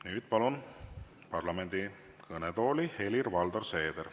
Nüüd palun parlamendi kõnetooli Helir-Valdor Seederi.